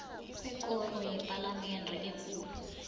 kwekoro yepalamende ekulu